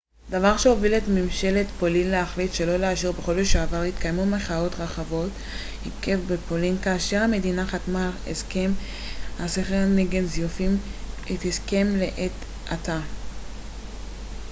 בחודש שעבר התקיימו מחאות רחבות היקף בפולין כאשר המדינה חתמה על הסכם הסחר נגד זיופים acta דבר שהוביל את ממשלת פולין להחליט שלא לאשר את ההסכם לעת עתה